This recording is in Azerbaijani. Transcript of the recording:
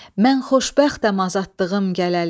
Mən xoşbəxtəm azadlığım gələli.